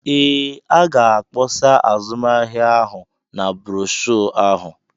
Ee, a ga-akpọsa azụmahịa ahụ na broshuọ ahụ.